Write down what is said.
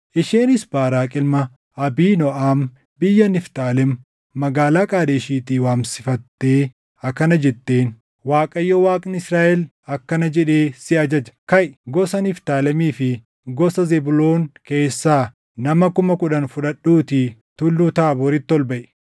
Isheenis Baaraaqi ilma Abiinooʼam biyya Niftaalem magaalaa Qaadeshiitii waamsifatee akkana jetteen; “ Waaqayyo Waaqni Israaʼel akkana jedhee si ajaja; ‘Kaʼi; gosa Niftaalemii fi gosa Zebuuloon keessaa nama kuma kudhan fudhadhuutii Tulluu Taabooriitti ol baʼi.